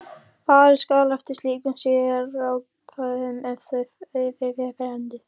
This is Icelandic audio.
Farið skal eftir slíkum sérákvæðum ef þau eru fyrir hendi.